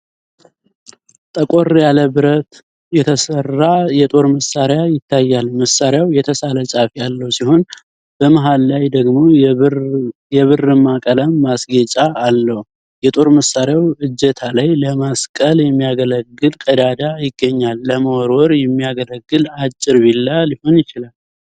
ጠቆር ያለ ብረት የተሰራ የጦር መሳሪያ ይታያል። መሳሪያው የተሳለ ጫፍ ያለው ሲሆን፣ በመሃል ላይ ደግሞ የብርማ ቀለም ማስጌጫ አለው። የጦር መሳሪያው እጀታ ላይ ለመስቀል የሚያገለግል ቀዳዳ ይገኛል። ለመወርወር የሚያገለግል አጭር ቢላ ሊሆን ይችላል።